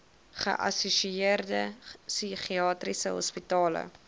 geassosieerde psigiatriese hospitale